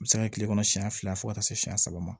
A bɛ se ka kɛ kile kɔnɔ siɲɛ fila fo ka taa se siɲɛ saba ma